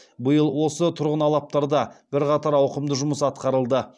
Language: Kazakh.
биыл осы тұрғын алаптарда бірқатар ауқымды жұмыс атқарылды